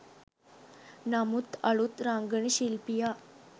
නමුත් අලුත් රංගන ශිල්පියා